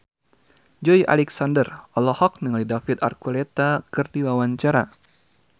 Joey Alexander olohok ningali David Archuletta keur diwawancara